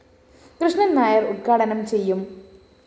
കൃഷ്ണന്‍ നായര്‍ ഉദ്ഘാടനം ചെയ്യും